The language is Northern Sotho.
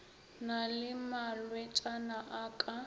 na le malwetšana a ka